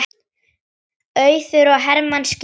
Auður og Hermann skildu.